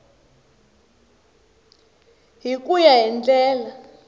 hi ku ya hi ndlela